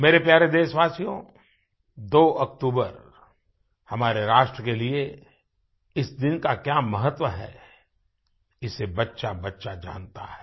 मेरे प्यारे देशवासियो 2 अक्टूबर हमारे राष्ट्र के लिए इस दिन का क्या महत्व है इसे बच्चाबच्चा जानता है